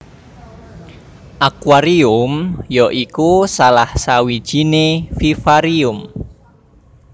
Akuarium ya iku salah sawijiné vivarium